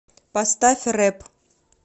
поставь рэп